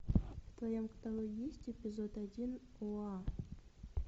в твоем каталоге есть эпизод один оа